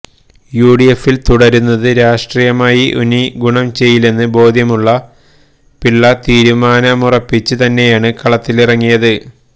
U ഡി എഫില് തുടരുന്നത് രാഷ്ട്രീയമായി ഇനി ഗുണം ചെയ്യില്ലെന്ന് ബോധ്യമുള്ള പിള്ള തീരുമാനിച്ചുറപ്പിച്ച് തന്നെയാണ് കളത്തിലിറങ്ങിയത്